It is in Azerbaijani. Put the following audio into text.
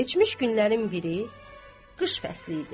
Keçmiş günlərin biri qış fəsli idi.